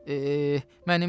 Eeeh, mənim eşşəyimi!